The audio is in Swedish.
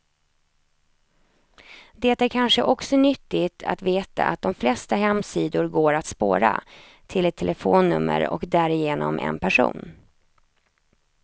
Det är kanske också nyttigt att veta att de flesta hemsidor går att spåra, till ett telefonnummer och därigenom en person.